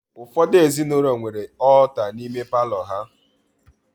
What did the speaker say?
Ụfọdụ ezinụlọ nwere ọọta n'ime palọ ha